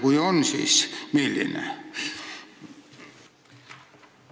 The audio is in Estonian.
Kui on, siis milline?